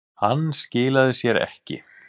Hann skilaði sér ekki